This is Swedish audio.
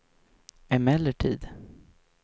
emellertid